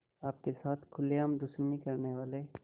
आपके साथ खुलेआम दुश्मनी करने वाले